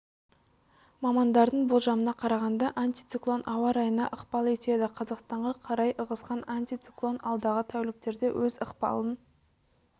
мамандардың болжамына қарағанда антициклон ауа райына ықпал етеді қазақстанға қарай ығысқан антициклон алдағы тәуліктерде өз ықпалын